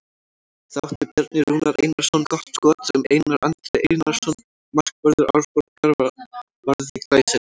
Þá átti Bjarni Rúnar Einarsson gott skot sem Einar Andri Einarsson markvörður Árborgar varði glæsilega.